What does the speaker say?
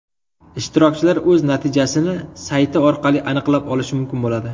Ishtirokchilar o‘z natijasini sayti orqali aniqlab olishi mumkin bo‘ladi.